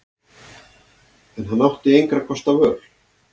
En hann átti engra kosta völ.